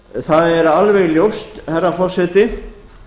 það er alveg ljóst herra forseti